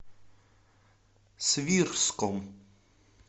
свирском